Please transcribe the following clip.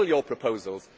Table your proposals.